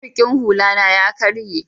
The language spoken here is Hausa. mariƙin hula na ya karye